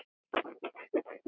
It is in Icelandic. Já, hún var alveg frábær!